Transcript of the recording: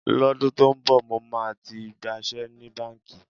Lọ́dún tó ń bọ̀, mo máa ti gbaṣẹ́ ní báǹkì.